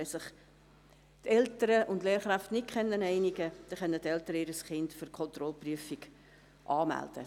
Wenn sich Eltern und Lehrkräfte nicht einigen, können die Eltern ihr Kind für die Kontrollprüfung anmelden.